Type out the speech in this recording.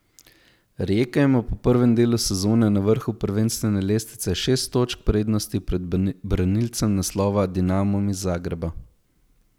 Rijeka ima po prvem delu sezone na vrhu prvenstvene lestvice šest točk prednosti pred branilcem naslova, Dinamom iz Zagreba.